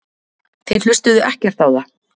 Þeir hlustuðu ekkert á það.